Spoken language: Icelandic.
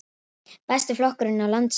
Besti flokkurinn á landsvísu